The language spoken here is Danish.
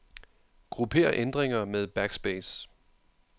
Grupper ændringer med backspace.